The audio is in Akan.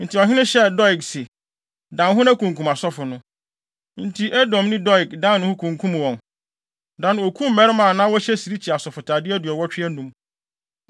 Enti ɔhene hyɛɛ Doeg se, “Dan wo ho na kunkum asɔfo no.” Enti Edomni Doeg dan ne ho kunkum wɔn. Da no, okum mmarima a na wɔhyɛ sirikyi asɔfotade aduɔwɔtwe anum.